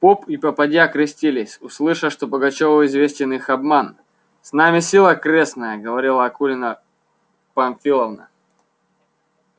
поп и попадья крестились услыша что пугачёву известен их обман с нами сила крестная говорила акулина памфиловна